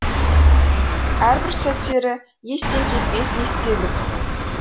әрбір сәттері естен кетпес естелік